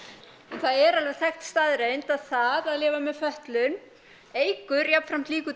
það er alveg þekkt staðreynd að það að lifa með fötlun eykur jafnframt líkurnar